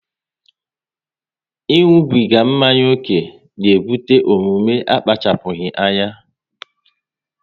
ịṅụbiga mmanya ókè na ebute omume akpachapụghị anya